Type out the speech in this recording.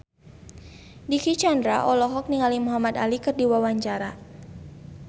Dicky Chandra olohok ningali Muhamad Ali keur diwawancara